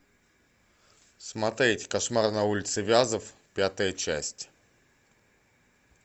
смотреть кошмар на улице вязов пятая часть